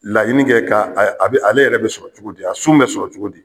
Laɲini kɛ ka a a ale yɛrɛ bɛ sɔrɔ cogo di ? A sun bɛ sɔrɔ cogo di?